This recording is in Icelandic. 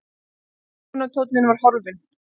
Ásökunartónninn var horfinn.